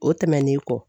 O tɛmɛnen kɔ